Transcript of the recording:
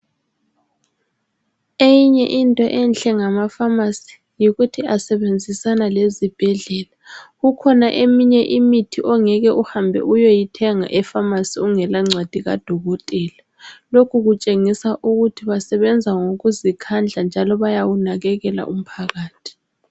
Eyinye into enhle ngama pharmacy yikuthi asebenzisana lezibhedlela . Kukhona eyinye imithi ongeke uhambe uyeyithenga epharmacy ungela ncwadi kaDokotela .Lokhu kutshengisa ukuthi basebenza ngokuzikhandla njalo bayawunakekela umphakathi.